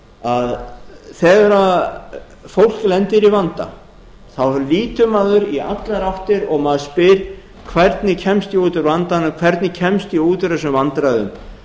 að þegar fólk lendir í vanda þá lítur maður í allar áttir og maður spyr hvernig kemst ég út úr vandanum hvernig kemst ég út úr þessum vandræðum